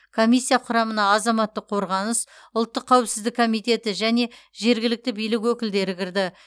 комиссия құрамына азаматтық қорғаныс ұлттық қауіпсіздік комитеті және жергілікті билік өкілдері кірді